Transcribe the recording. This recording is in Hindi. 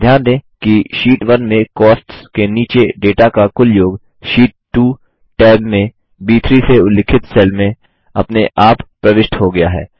ध्यान दें कि शीट 1 में कॉस्ट्स के नीचे डेटा का कुल योग शीट 2 टैब में ब3 से उल्लिखित सेल में अपने आप प्रविष्ट हो गया है